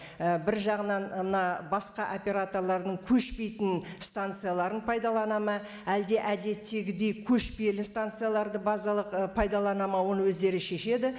і бір жағынан мына басқа операторлардың көшпейтін станцияларын пайдаланады ма әлде әдеттегідей көшпелі станцияларды базалық і пайдаланады ма оны өздері шешеді